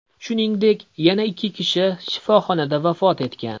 Shuningdek, yana ikki kishi shifoxonada vafot etgan.